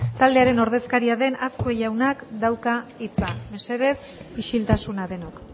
taldearen ordezkaria den azkue jaunak dauka hitza mesedez isiltasuna denok